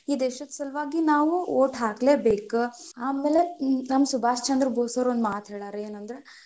ಈ ದೇಶದ ಸಲುವಾಗಿ ನಾವು vote ಹಾಕ್ಲೆ ಬೇಕ್, ಆಮೇಲೆ ನಮ್ ಸುಭಾಷ್ ಚಂದ್ರ ಭೋಸ್ ಅವ್ರು ಒಂದ್ ಮಾತ್ ಹೇಳ್ಯಾರ ಏನ ಅಂದ್ರ,